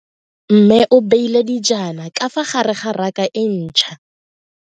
Mme o beile dijana ka fa gare ga raka e ntšha.